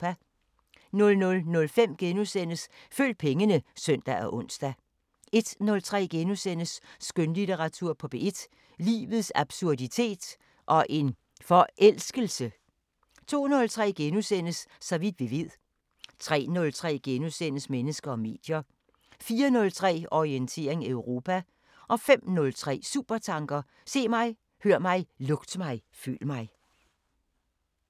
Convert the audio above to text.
00:05: Følg pengene *(søn og ons) 01:03: Skønlitteratur på P1: Livets absurditet – og en forelskelse! * 02:03: Så vidt vi ved * 03:03: Mennesker og medier * 04:03: Orientering Europa 05:03: Supertanker: Se mig, hør mig, lugt mig, føl mig